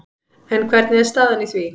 En hvernig er staðan í því?